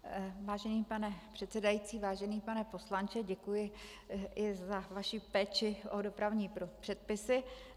Vážený pane předsedající, vážený pane poslanče, děkuji i za vaši péči o dopravní předpisy.